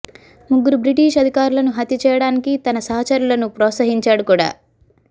ముగ్గురు బ్రిటీష్ అధికారులను హత్య చేయడానికి తన సహచరులను ప్రోత్సహించాడు కూడా